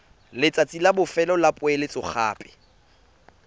letsatsi la bofelo la poeletsogape